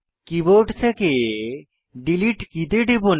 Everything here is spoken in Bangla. কীবোর্ড থেকে ডিলিট কী তে টিপুন